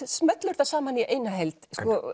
smellur þetta saman í eina heild